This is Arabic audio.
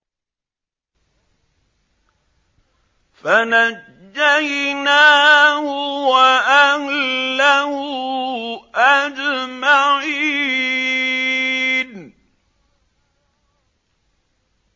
فَنَجَّيْنَاهُ وَأَهْلَهُ أَجْمَعِينَ